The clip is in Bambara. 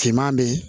Finman bɛ ye